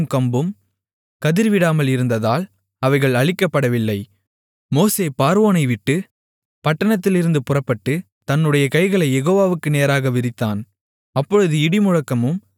மோசே பார்வோனைவிட்டுப் பட்டணத்திலிருந்து புறப்பட்டு தன்னுடைய கைகளைக் யெகோவாவுக்கு நேராக விரித்தான் அப்பொழுது இடிமுழக்கமும் கல்மழையும் நின்றது மழையும் பூமியில் பெய்யாமல் இருந்தது